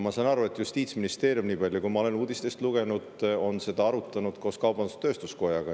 Ma sain aru selle põhjal, mida ma olen uudistest lugenud, et Justiitsministeerium on seda arutanud kaubandus-tööstuskojaga.